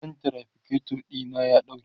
wutan traficator na ya ɗauke